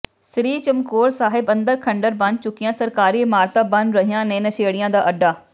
ਸ੍ਰੀ ਚਮਕੌਰ ਸਾਹਿਬ ਅੰਦਰ ਖੰਡਰ ਬਣ ਚੁੱਕੀਆਂ ਸਰਕਾਰੀ ਇਮਾਰਤਾਂ ਬਣ ਰਹੀਆਂ ਨੇ ਨਸ਼ੇੜੀਆਂ ਦਾ ਅੱਡਾ